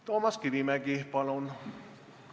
Toomas Kivimägi, palun!